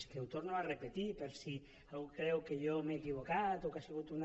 és que ho torno a repetir per si algú creu que jo m’he equivocat o que ha sigut una